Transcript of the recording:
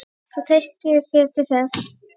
Ég treysti þér til þess.